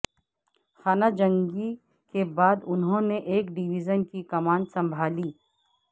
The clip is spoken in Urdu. خانہ جنگی کے بعد انہوں نے ایک ڈویژن کی کمان سنبھالی